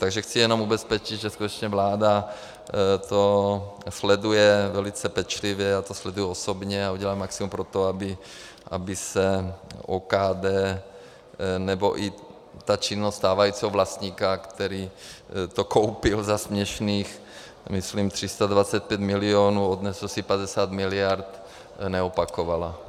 Takže chci jenom ubezpečit, že skutečně vláda to sleduje velice pečlivě, já to sleduji osobně a udělám maximum pro to, aby se OKD nebo i ta činnost stávajícího vlastníka, který to koupil za směšných, myslím, 325 milionů, odnesl si 50 miliard, neopakovala.